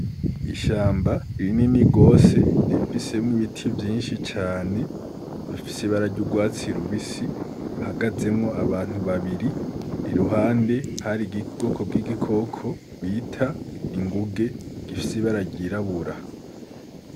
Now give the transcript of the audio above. Ishamba ririnini rwose rifisemwo ibiti vyinshi cane bifise bararya urwatsi rubisi hagazemwo abantu babiri iruhande hari igigoko bw'igikoko bita inguge gifisi bararyirabura.